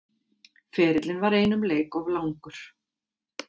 Ferillinn var einum leik of langur